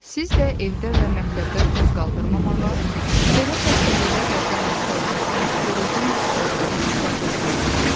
Siz də evdə və məktəbdə toz qaldırmamağa, belə xəstəliklərlə təmasda olarkən qoruyucu maskalardan istifadə etməyə çalışın.